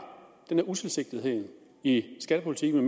utilsigtethed i skattepolitikken